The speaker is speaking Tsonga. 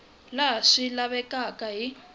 laha swi nga lavekaka hi